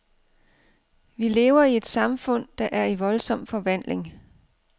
Vi lever i et samfund, der er i voldsom forvandling.